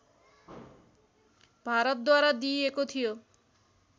भारतद्वारा दिइएको थियो